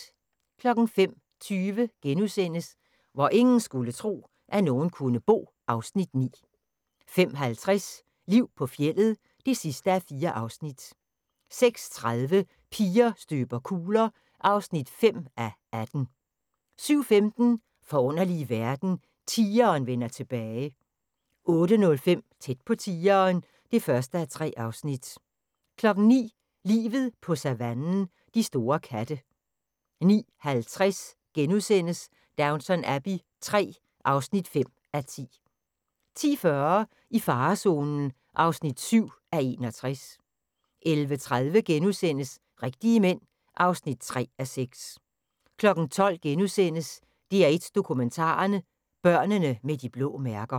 05:20: Hvor ingen skulle tro, at nogen kunne bo (Afs. 9)* 05:50: Liv på fjeldet (4:4) 06:30: Piger støber kugler (5:18) 07:15: Forunderlige verden – tigeren vender tilbage 08:05: Tæt på tigeren (1:3) 09:00: Livet på savannen – de store katte 09:50: Downton Abbey III (5:10)* 10:40: I farezonen (7:61) 11:30: Rigtige Mænd (3:6)* 12:00: DR1 Dokumentaren: Børnene med de blå mærker *